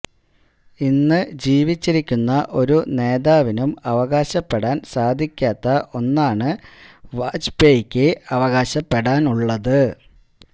ഇന്ന് ജീവിച്ചിരിക്കുന്ന ഒരു നേതാവിനും അവകാശപ്പെടാന് സാധിക്കാത്ത ഒന്നാണ് വാജ്പയ്ക്ക് അവകാശപെടാന് ഉള്ളത്